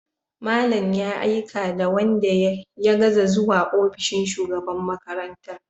Malam ya aika da wanda ya gaza zuwa ofishin shugaban makarantar.